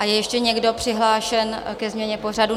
A je ještě někdo přihlášen ke změně pořadu?